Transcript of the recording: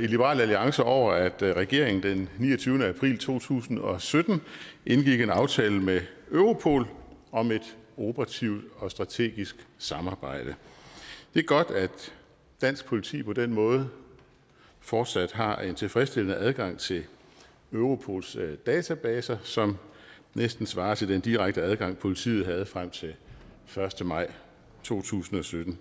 i liberal alliance over at regeringen den niogtyvende april to tusind og sytten indgik en aftale med europol om et operativt og strategisk samarbejde det er godt at dansk politi på den måde fortsat har en tilfredsstillende adgang til europols databaser som næsten svarer til den direkte adgang politiet havde frem til den første maj to tusind og sytten